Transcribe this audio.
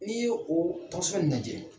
N'i ye o lajɛ.